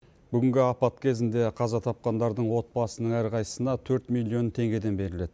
бүгінгі апат кезінде қаза тапқандардың отбасының әрқайсысына төрт миллион теңгеден беріледі